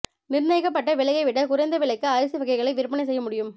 நிர்ணயிக்கப்பட்ட விலையை விட குறைந்த விலைக்கு அரிசி வகைகளை விற்பனை செய்ய முடியும்